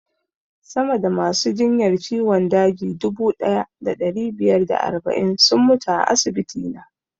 Sama da masu jinyar ciwon daji dubu ɗaya da ɗari biyar da arba'in sun mutu a asibiti na